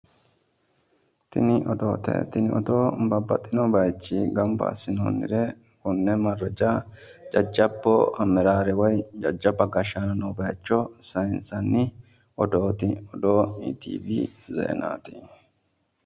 tini odoote tini odoo babaxino bayiichchi ganba assinoonnire konne maraja jajabbu amaraare woy jajjabba gashshano noowa saansanni iitivi zeenaati,